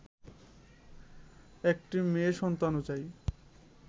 একটি মেয়ে সন্তানও চাই